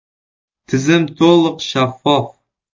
Tizim to‘liq shaffof.